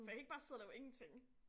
For jeg kan ikke bare sidde og lave ingenting